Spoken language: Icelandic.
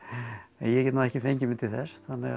en ég get nú ekki fengið mig til þess þannig